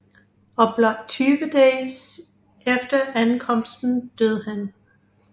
Og blot 20 dage efter ankomsten døde han